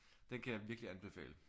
Den kan jeg virkelig anbefale